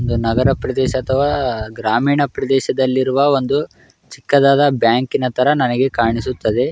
ನಗರ ಪ್ರದೇಶ ಅಥವಾ ಗ್ರಾಮೀಣ ಪ್ರದೇಶದಲ್ಲಿ ಇರುವ ಒಂದು ಚಿಕ್ಕದಾದ ಬ್ಯಾಂಕ ಇನ ತರ ನನಗೆ ಕಾಣಿಸುತ್ತದೆ.